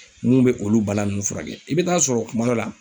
Minnu bɛ olu balan nunnu furakɛ , i bɛ taa sɔrɔ kuma dɔ la.